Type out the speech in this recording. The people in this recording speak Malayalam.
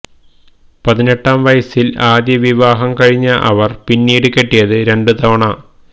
പതിനെട്ടാം വയസില് ആദ്യ വിവാഹം കഴിഞ്ഞ അവര് പിന്നീട് കെട്ടിയത് രണ്ടുതവണ